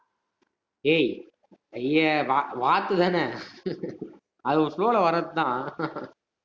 ஏய் ஐய்யா வா~ வார்த்தான அது ஒரு flow ல வர்றதுதான்